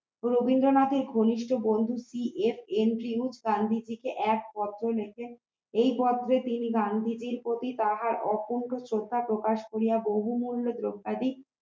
রবীন্দ্রনাথের ঘনিষ্ঠ বন্ধু এস এনজিও গান্ধীজীর এক পত্র লেখেন এই পত্রে তিনি গান্ধীজীর প্রতি তাহার অকুন্ঠ শ্রদ্ধা প্রকাশ করিয়া তিনি মূল্য দ্রবাদী